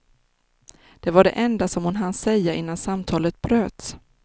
Det var det enda som hon hann säga innan samtalet bröts.